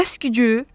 Bəs gücü?